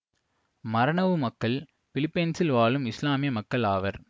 மரனவு மக்கள் பிலிப்பைன்சில் வாழும் இசுலாமிய மக்கள் ஆவர்